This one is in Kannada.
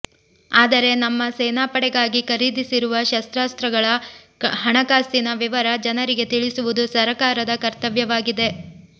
ಆದರೆ ನಮ್ಮ ಸೇನಾಪಡೆಗಾಗಿ ಖರೀದಿಸಿರುವ ಶಸ್ತ್ರಾಸ್ತ್ರಗಳ ಹಣಕಾಸಿನ ವಿವರ ಜನರಿಗೆ ತಿಳಿಸುವುದು ಸರಕಾರದ ಕರ್ತವ್ಯವಾಗಿದೆ